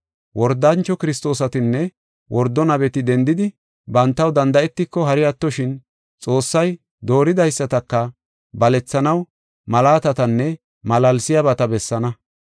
Wordancho Kiristoosatinne wordo nabeti dendidi bantaw danda7etiko, hari attoshin Xoossay dooridaysataka balethanaw malaatatanne malaalsiyabata bessaana.